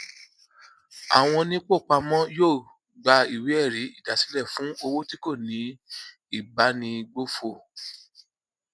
àwọn onípòpamọ yóò gba ìwé ẹrí ìdásílẹ fún owó tí kò ní ìbánigbófò